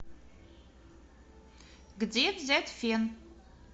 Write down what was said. где взять фен